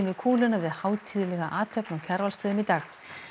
kúluna við hátíðlega athöfn á Kjarvalsstöðum í dag